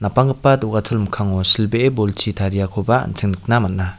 banggipa do·gachol mikkango silbee bolchi tariakoba an·ching nikna man·a.